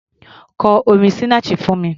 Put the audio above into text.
Kọ orin Sinach fún mi!